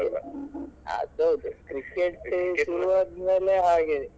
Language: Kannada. ಅದು ಹೌದು cricket ಶುರುವಾದ್ಮೇಲೆ ಹಾಗೆನೇ.